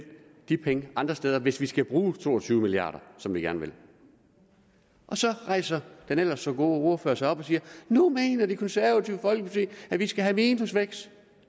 de penge andre steder hvis vi skal bruge to og tyve milliard kr som vi gerne vil og så rejser den ellers så gode ordfører sig op og siger nu mener det konservative folkeparti at vi skal have minusvækst